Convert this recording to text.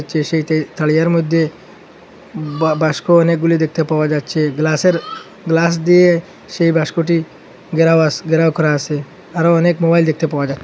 যে সেইটাই তারিয়ার মধ্যে বা বাস্ক অনেকগুলি দেখতে পাওয়া যাচ্ছে গ্লাসের গ্লাস দিয়ে সেই বাস্কটি ঘেরাও আসে ঘেরাও করা আসে আরও অনেক মোবাইল দেখতে পাওয়া যা--